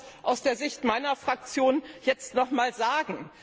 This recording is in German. Ich will das aus der Sicht meiner Fraktion jetzt nochmals sagen.